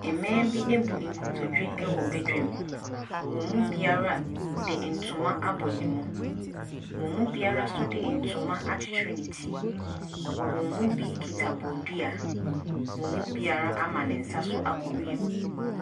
Mmaa bi abu nkotodwe wɔ badwm. Wɔn mu biara de ntoma abɔ ne mu. Wɔn mu biara nso de ntoma akyekyere ne ti. Wɔn mu bi kita bodua. Wɔn mu biara ama ne nsa so akɔ wiem.